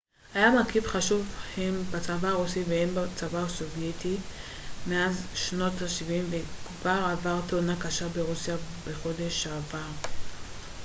מטוס ה-il-76 היה מרכיב חשוב הן בצבא הרוסי וההן בצבא הסובייטי מאז שנות השבעים וכבר עבר תאונה קשה ברוסיה בחודש שעבר